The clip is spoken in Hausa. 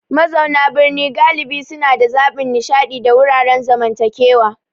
Mazauna birni galibi suna da zaɓin nishaɗi da wuraren zamantakewa.